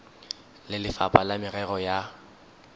le lefapha la merero ya